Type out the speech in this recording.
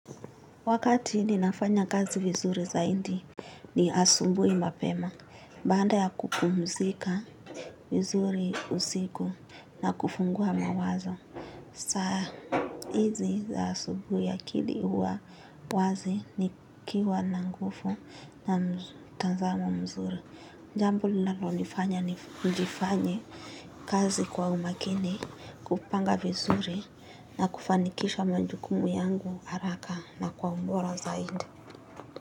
Wakati ninafanya kazi vizuri zaidi ni asubuhi mapema. Baada ya kupumzika vizuri usiku na kufungua mawazo. Saa hizi za asubuhi akili huwa wazi, nikiwa na nguvu na mtazamo mzuri. Jambo linalonifanya nifanye kazi kwa umakini, kupanga vizuri na kufanikisha majukumu yangu haraka na kwa ubora zaidi.